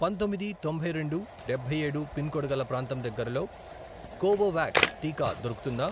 పంతొమ్మిది, తొంభై రెండు, డబ్బై ఏడు, పిన్ కోడ్ గల ప్రాంతం దగ్గరలో కోవోవాక్స్ టీకా దొరుకుతుందా?